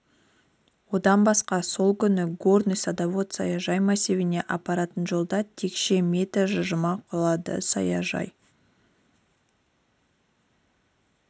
одан басқа сол күні горный садовод саяжай массивіне апаратын жолда текше метр жылжыма құлады саяжай